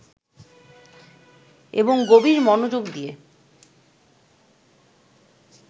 এবং গভীর মনোযোগ দিয়ে